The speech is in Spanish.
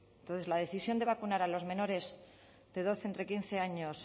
entonces la decisión de vacunar a los menores de doce entre quince años